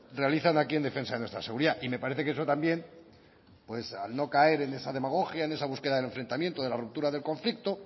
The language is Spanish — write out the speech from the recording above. realizan aquí en defensa de nuestra seguridad y me parece que eso también pues al no caer en esa demagogia en esa búsqueda del enfrentamiento de la ruptura del conflicto